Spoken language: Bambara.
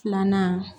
Filanan